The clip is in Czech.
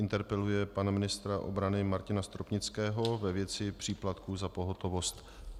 Interpeluje pana ministra obrany Martina Stropnického ve věci příplatků za pohotovost.